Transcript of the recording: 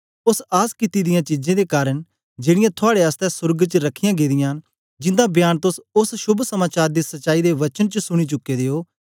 ओस आस कित्ती दियां चीजें दे कारन जेड़ीयां थुआड़े आसतै सोर्ग च रखियां गेदियां न जिन्दा बयान तोस ओस शोभ समाचार दी सच्चाई दे वचन च सुनी चुके दे ओ